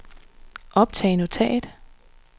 optag notat